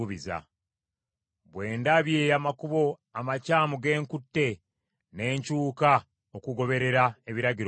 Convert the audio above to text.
Bwe ndabye amakubo amakyamu ge nkutte, ne nkyuka okugoberera ebiragiro byo.